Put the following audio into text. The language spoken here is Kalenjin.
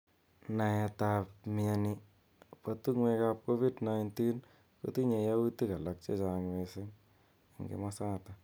Naet ab mnyeni bo tungwek ab covid kotinye yautik alak chechang mising eng kimosatak.